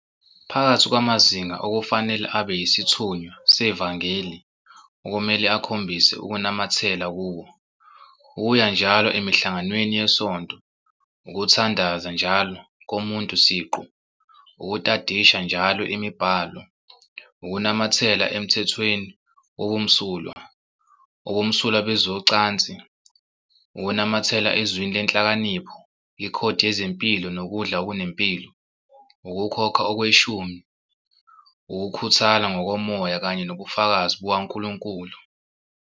Phakathi kwamazinga okufanele abe yisithunywa sevangeli okumele akhombise ukunamathela kuwo- ukuya njalo emihlanganweni yesonto, ukuthandaza njalo komuntu siqu, ukutadisha njalo imibhalo, ukunamathela emthethweni wobumsulwa, ubumsulwa bezocansi, ukunamathela eZwini leNhlakanipho, ikhodi yezempilo nokudla okunempilo, ukukhokha okweshumi, ukukhuthala ngokomoya kanye nobufakazi bukaNkulunkulu.